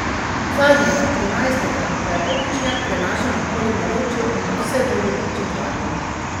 Zadnjega, trinajstega, pa je opičnjak prenašal naokoli v naročju in ga vse bolj ljubeče gladil.